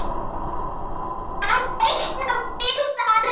Að teikna friðar.